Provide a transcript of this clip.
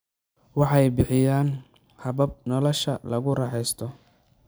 Waxay bixiyaan habab nolosha lagu raaxaysto.